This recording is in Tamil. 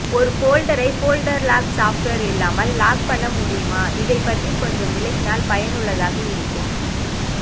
ஒரு போல்டர்ரை போல்டர் லாக் சாப்டேவர் இல்லாமல் லாக் பண்ண முடிமா இதை பற்றி கொஞ்சம் விலகினால் பயனுள்ளதாக இருக்கும்